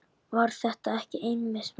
Var þetta ekki einmitt málið?